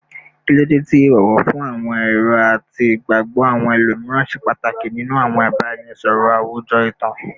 Kilode ti ibowo fun awọn ero ati igbagbọ awọn ẹlomiran ṣe pataki ninu awọn ibaraẹnisọrọ awujọ itan?